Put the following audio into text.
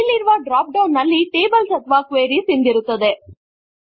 ಇಲ್ಲಿರುವ drop down ನಲ್ಲಿ tables or queries ಎಂದಿರುತ್ತದೆ